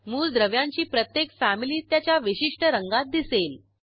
मूलद्रव्यांची प्रत्येक फॅमिली त्याच्या विशिष्ट रंगात दिसेल